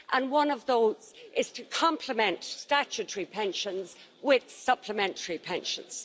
One of those is to complement statutory pensions with supplementary pensions.